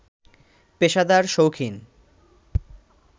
পেশাদার, শৌখিন